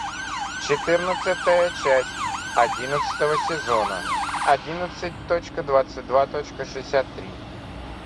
четырнадцатая часть одиннадцатого сезона одиннадцать точка двадцать два точка шестьдесят три